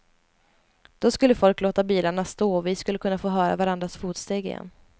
Då skulle folk låta bilarna stå och vi skulle kunna få höra varandras fotsteg igen.